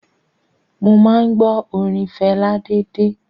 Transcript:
Mo máa ń gbọ́ orin Fẹlá déédéé.